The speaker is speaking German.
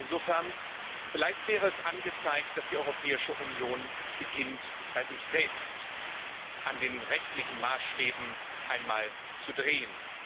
Insofern wäre es vielleicht angezeigt, dass die Europäische Union beginnt, bei sich selbst an den rechtlichen Maßstäben einmal zu drehen.